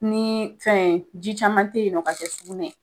Nii fɛn ji caman te yen nɔ ka kɛ sugunɛ ye